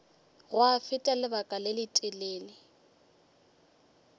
gwa feta lebaka le letelele